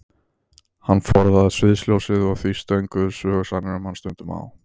Hann forðaðist sviðsljósið og því stönguðust sögusagnir um hann stundum á.